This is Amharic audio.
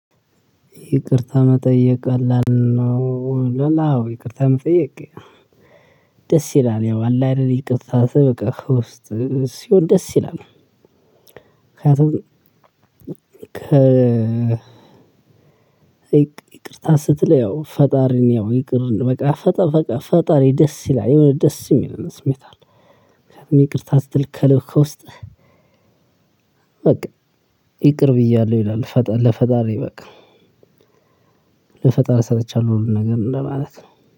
ይቅርታ መጠየቅ ቀላል ነው? ይላል። አዎ! ይቅርታ መጠየቅ ደስ ይላል፤ ያው አለ አይደል ይቅርታ በቃ ከውስጥ ሲሆን ደስ ይላል ምክንያቱም ይቅርታ ስትል ያው ፈጣሪን ያው ይቅር በቃ ፈጣሪ ደስ ይላል የሆነ ደስ የሚልም ስሜት አለ። ይቅርታ ስትል ከለብ ከውስጥህ በቃ ይቅር ብያለሁ ይላል ለፈጣሪ በቃ፤ ለፈጠሪ ሰጥቻለው ሁሉ ነገር እንደማለት ነው።